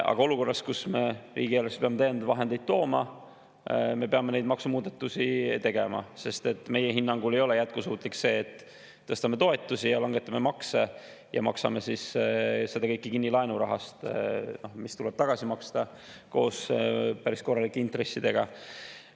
Aga olukorras, kus me riigieelarvesse peame täiendavaid vahendeid tooma, me peame neid maksumuudatusi tegema, sest meie hinnangul ei ole jätkusuutlik see, et tõstame toetusi ja langetame makse ja maksame siis selle kõik kinni laenurahast, mis tuleb tagasi maksta koos päris korralike intressidega.